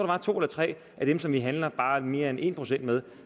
var to eller tre af dem som vi handler bare mere end en procent med